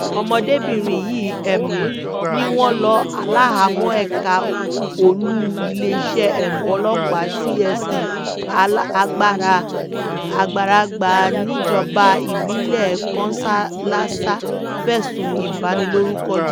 ọmọdébìnrin yìí um ni wọ́n lọ wà láhàámọ̀ ẹ̀ka olú iléeṣẹ́ um ọlọ́pàá tse a agbara agbaragba níjọba ìbílẹ̀ kọnshálásà fẹ̀sùn ìbanilórúkọ